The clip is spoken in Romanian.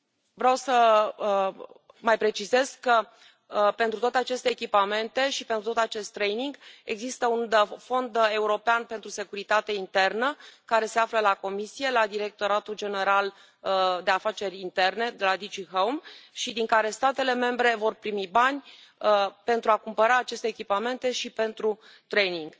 Vreau să mai precizez că pentru toate aceste echipamente și pentru tot acest training există un fond european pentru securitate internă, care se află la Comisie, la Directoratul General pentru Migrație și Afaceri Interne, DG HOME, și din care statele membre vor primi bani pentru a cumpăra aceste echipamente și pentru training.